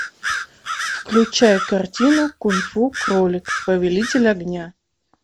включай картину кунг фу кролик повелитель огня